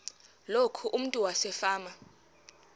loku umntu wasefama